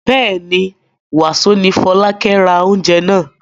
Bẹ́ẹ̀ ni, wàsó ni Fọlákẹ́ ra oúnjẹ náà.